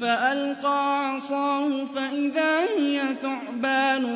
فَأَلْقَىٰ عَصَاهُ فَإِذَا هِيَ ثُعْبَانٌ